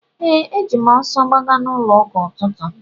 Ee, eji m ọsọ gbaga n'ụlọụka n’ụtụtụ.